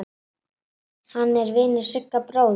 Hann er vinur Sigga bróður.